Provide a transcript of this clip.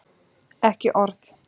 Ekki orð